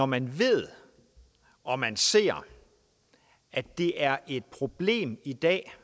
man ved og man ser at det er et problem i dag